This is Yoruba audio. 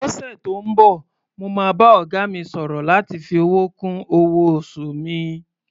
Lọ́sẹ̀ tó ń bọ̀, mo máa bá ọ̀gá mi sọ̀rọ̀ láti fi owó kún owó-oṣù mi.